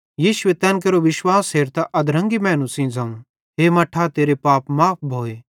यीशुए तैन केरो विश्वास हेरतां अधरंगी मैनू सेइं ज़ोवं हे मट्ठा तेरे पाप माफ़ भोए